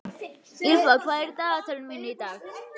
Ýlfa, hvað er í dagatalinu mínu í dag?